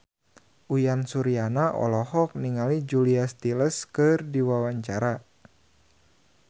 Uyan Suryana olohok ningali Julia Stiles keur diwawancara